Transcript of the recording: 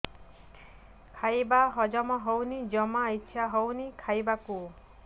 ଖାଇବା ହଜମ ହଉନି ଜମା ଇଛା ହଉନି ଖାଇବାକୁ